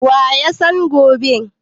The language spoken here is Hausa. wa ya san gone?